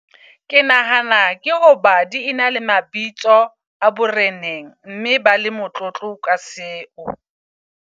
Ke nahana ke hoba di ena le mabitso a boreneng, mme ba le motlotlo ka seo.